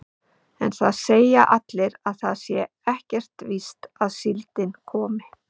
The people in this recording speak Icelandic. En það segja allir að það sé ekkert víst að síldin komi.